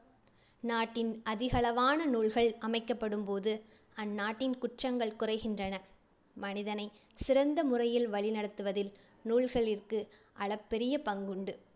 நாட்டின் அதிகளவான நூல்கள் அமைக்கப்படும் போது அந்நாட்டின் குற்றங்கள் குறைகின்றன. மனிதனை சிறந்த முறையில் வழிநடத்துவதில் நூல்களிற்கு அளப்பரிய பங்குண்டு.